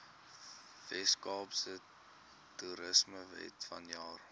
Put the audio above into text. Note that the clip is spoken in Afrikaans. weskaapse toerismewet vanjaar